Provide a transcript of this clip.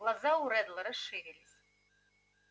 глаза у реддла расширились